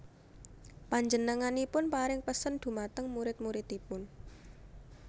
Panjenenganipun paring pesen dhumateng murid muridipun